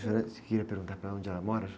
disse que queria perguntar para ela onde ela mora?